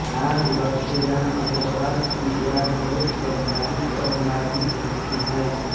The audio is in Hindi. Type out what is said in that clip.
आज लखीराम अग्रवाल की याद बहुत स्वाभाविक और मार्मिक लगती है